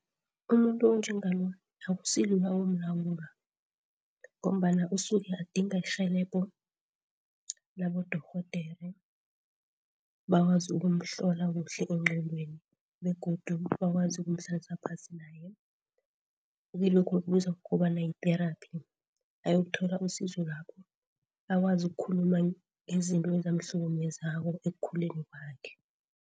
Umuntu onjengalo akusilula ukumlawula ngombana usuke adinga irhelebho labodorhodere, bakwazi ukumhlola kuhle engqondweni begodu bakwazi ukumhlalisa phasi naye kilokho ekubizwa ukobana yi-thearapy ayokuthola usizo lapho. Akwazi ukukhuluma izinto enzamhlukumezako ekukhuleni kwakhe.